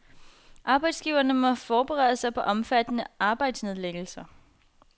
Arbejdsgiverne må forberede sig på omfattende arbejdsnedlæggelser.